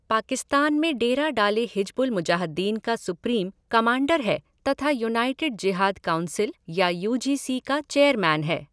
पाकिस्तान में डेरा डाले हिजबुल मुजाहद्दीन का सुप्रीम कमांडर है तथा युनाईटेड जिहाद काउंसील या यू जी सी का चेयरमैन है।